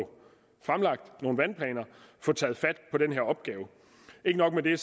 fremlagt nogle vandplaner og få taget fat på den her opgave ikke nok med det